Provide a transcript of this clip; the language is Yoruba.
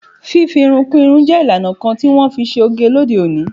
Fifi irun kú irun je ìlànà kan ti wọn fi ṣe oge lóde òní.